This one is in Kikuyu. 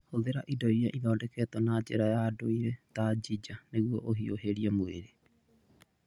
Hũthĩra indo iria ithondeketwo na njĩra ya ndũire ta ginger nĩguo ũhiũhĩrie mwĩrĩ.